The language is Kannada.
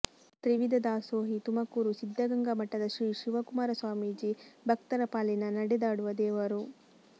ತ್ರಿವಿಧ ದಾಸೋಹಿ ತುಮಕೂರು ಸಿದ್ಧಗಂಗಾ ಮಠದ ಶ್ರೀ ಶಿವಕುಮಾರ ಸ್ವಾಮೀಜಿ ಭಕ್ತರ ಪಾಲಿನ ನಡೆದಾಡುವ ದೇವರು